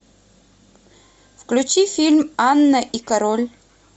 включи фильм анна и король